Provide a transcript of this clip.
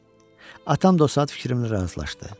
Atam da o saat fikrimlə razılaşdı.